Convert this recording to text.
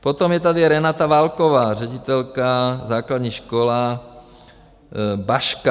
Potom je tady Renata Válková, ředitelka, Základní škola Baška.